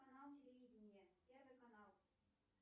канал телевидения первый канал